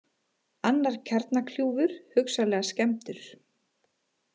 Annar kjarnakljúfur hugsanlega skemmdur